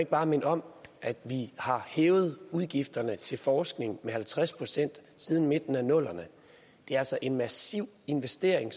bare minde om at vi har hævet udgifterne til forskning med halvtreds procent siden midten af nullerne det er altså en massiv investering